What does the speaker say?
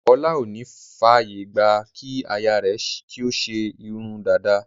Ọlá ò ní f'àyè gbà kí aya rẹ̀ ṣe kí ó ṣe irun dada.